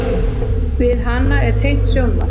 Við hana er tengt sjónvarp.